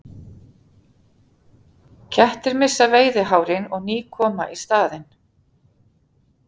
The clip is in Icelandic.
Kettir missa veiðihárin og ný koma í staðinn.